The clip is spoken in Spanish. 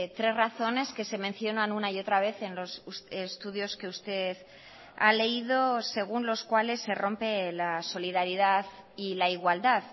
tres razones que se mencionan una y otra vez en los estudios que usted ha leído según los cuales se rompe la solidaridad y la igualdad